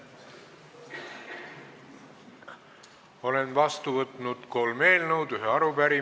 Olen vastu võtnud kolm eelnõu ja ühe arupärimise.